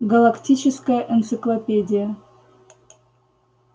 галактическая энциклопедия